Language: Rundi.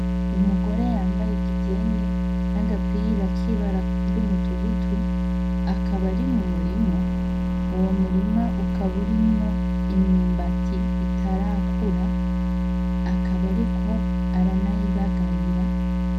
Umugore yambaye igitenge n'agapira k'ibara ry'umutugutu, akaba ari mu murima, uwo murima ukaba urimwo imyumbati itarakura, akaba ariko aranayibagarira.